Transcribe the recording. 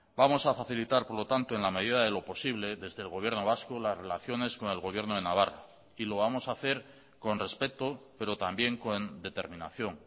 vamos a facilitar por lo tanto en la medida de lo posible desde el gobierno vasco las relaciones con el gobierno de navarra y lo vamos a hacer con respeto pero también con determinación